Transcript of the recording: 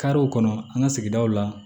Karew kɔnɔ an ka sigidaw la